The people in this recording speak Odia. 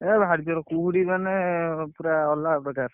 ଏ ଭାରିଜୋରେ କୁହୁଡି ମାନେ ପୁରା ଅଲଗାପ୍ରକାର।